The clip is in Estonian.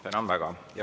Tänan väga.